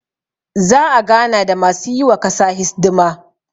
za a gana da masu yi wa kasa hisdima